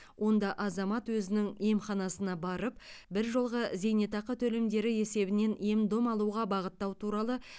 онда азамат өзінің емханасына барып біржолғы зейнетақы төлемдері есебінен ем дом алуға бағыттау туралы